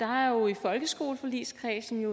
har jo i folkeskoleforligskredsen